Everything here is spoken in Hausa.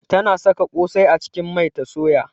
Tana saka kosai a cikin mai ta soya.